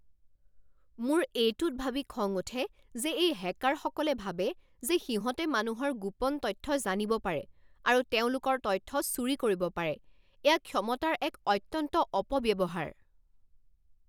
মোৰ এইটোত ভাবি খং উঠে যে এই হেকাৰসকলে ভাবে যে সিহঁতে মানুহৰ গোপন তথ্য জানিব পাৰে আৰু তেওঁলোকৰ তথ্য চুৰি কৰিব পাৰে। এয়া ক্ষমতাৰ এক অত্যন্ত অপব্যৱহাৰ।